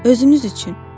Özünüz üçün.